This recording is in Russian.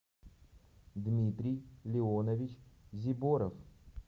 дмитрий леонович зиборов